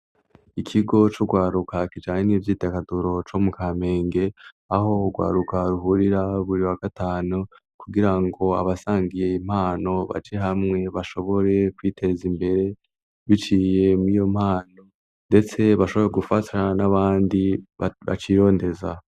Ikigo c'urwaruka kijanye n'ivyidagaduro co mu Kamenge aho urwaruka ruhurira buri wa gatanu kugira ngo abasangiye impano baje hamwe bashobore kwiteza imbere biciye mwiyo mpano ndetse bashobora gufatirana n'abandi bacirondeza.